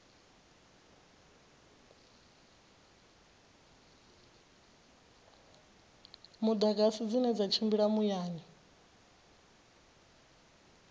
mudagasi dzine dza tshimbila muyani